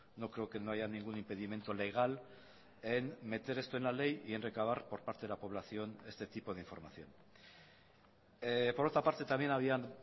no creo que no haya ningún impedimento legal en meter esto en la ley y en recabar por parte de la población este tipo de información por otra parte también habían